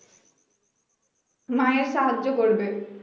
মায়ের কাজ তো করবে